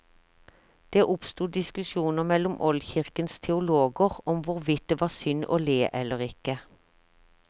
Det oppstod diskusjoner mellom oldkirkens teologer om hvorvidt det var synd å le eller ikke.